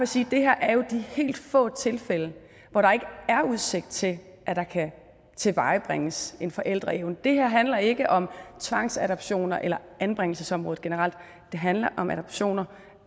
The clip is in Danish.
sige at det her er de helt få tilfælde hvor der ikke er udsigt til at der kan tilvejebringes en forældreevne det her handler ikke om tvangsadoptioner eller anbringelsesområdet generelt det handler om adoptioner